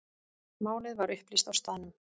Málið var upplýst á staðnum.